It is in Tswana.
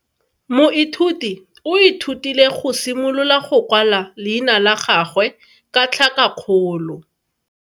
Moithuti o ithutile go simolola go kwala leina la gagwe ka tlhakakgolo.